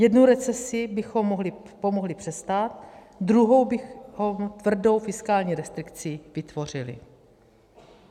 Jednu recesi bychom pomohli přestát, druhou bychom tvrdou fiskální restrikcí vytvořili.